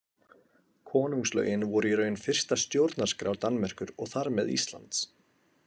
Konungslögin voru í raun fyrsta stjórnarskrá Danmerkur og þar með Íslands.